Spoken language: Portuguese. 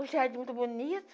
O jardim muito bonito,